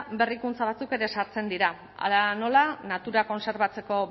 berrikuntza batzuk ere sartzen dira hala nola natura kontserbatzeko